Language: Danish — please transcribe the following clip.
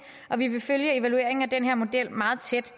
og vi vil følge evalueringen af den her model meget tæt